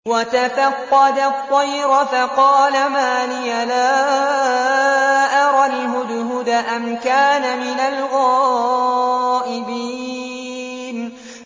وَتَفَقَّدَ الطَّيْرَ فَقَالَ مَا لِيَ لَا أَرَى الْهُدْهُدَ أَمْ كَانَ مِنَ الْغَائِبِينَ